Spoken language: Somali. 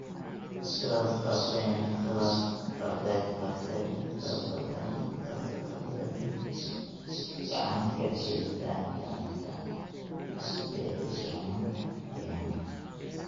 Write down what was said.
sidaas darteedna ay gacan ka geystaan ??ilaalinta dheelitirnaanta deegaanka.